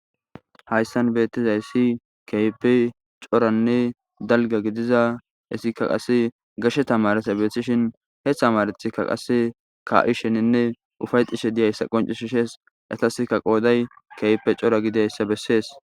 Hayssan beettizayssi keype coranne dalga gidiza issikka qasse garshe tamaresa beethishin hethamarethikka qase ka7i sheninne ufay xishe diyayssa qoncishi shees etaskka qooday keype cora gidayssa bessees.